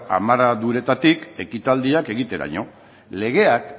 amarraduretatik ekitaldiak egiteraino legeak